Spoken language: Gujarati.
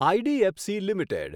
IDFC limited